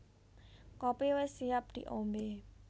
Kopi wis siap di ombé